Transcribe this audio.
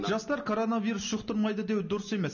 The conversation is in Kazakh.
жастар коронавирус жұқтырмайды деу дұрыс емес